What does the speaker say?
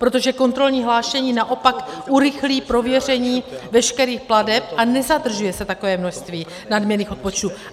Protože kontrolní hlášení naopak urychlí prověření veškerých plateb a nezadržuje se takové množství nadměrných odpočtů.